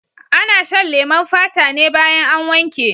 Ana shan leman fata ne baya an wanke.